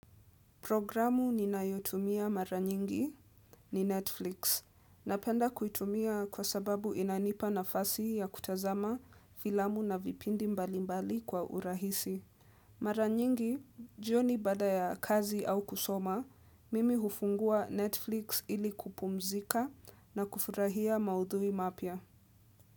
Programu ninayotumia mara nyingi ni Netflix. Napenda kuitumia kwa sababu inanipa nafasi ya kutazama filamu na vipindi mbali mbali kwa urahisi. Mara nyingi, jioni baada ya kazi au kusoma, mimi hufungua Netflix ili kupumzika na kufurahia maudhui mapya.